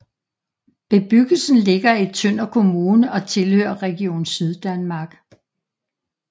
Bebyggelsen ligger i Tønder Kommune og tilhører Region Syddanmark